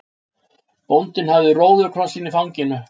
Bóndinn með róðukrossinn í fanginu.